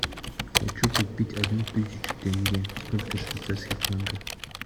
хочу купить одну тысячу тенге сколько швейцарских франков